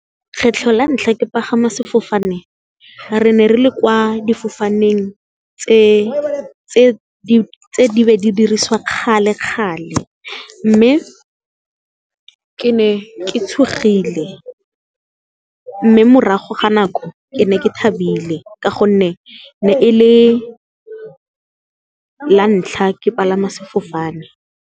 Kgetlho la ntlha ke pagama sefofane, re ne re le kwa difofaneng tse di be di dirisiwa kgale kgale mme, ke ne ke tshogile mme morago ga nako ke ne ke thabile ka gonne, ne e le la ntlha ke palama sefofane.